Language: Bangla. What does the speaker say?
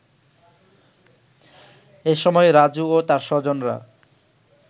এ সময় রাজু ও তার স্বজনরা